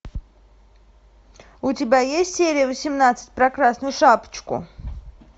у тебя есть серия восемнадцать про красную шапочку